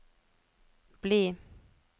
bli